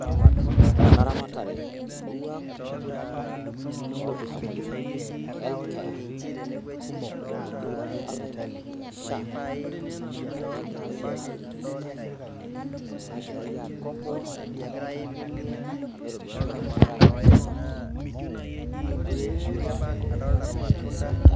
nothing audible